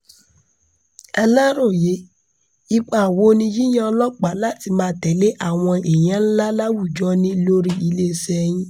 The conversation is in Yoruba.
aláròye ipa wo ni yíyan ọlọ́pàá láti máa tẹ̀lé àwọn èèyàn ńlá láwùjọ ní lórí iléeṣẹ́ yín